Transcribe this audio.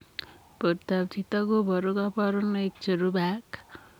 Portoop chitoo kobaruu kabarunaik cherubei ak